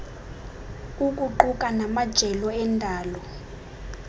ukuquka namajelo endalo